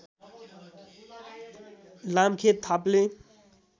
Lamkhet Thaple